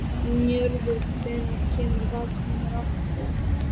Njörður, hvenær kemur vagn númer átta?